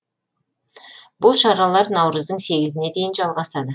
бұл шаралар наурыздың сегізіне дейін жалғасады